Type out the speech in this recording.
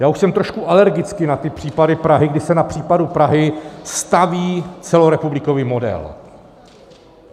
Já už jsem trošku alergický na ty případy Prahy, kdy se na případu Prahy staví celorepublikový model.